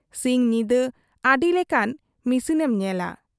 ᱥᱤᱧ ᱧᱤᱫᱟᱹ ᱟᱹᱰᱤ ᱞᱮᱠᱟᱱ ᱢᱤᱥᱤᱱᱮᱢ ᱧᱮᱞᱟ ᱾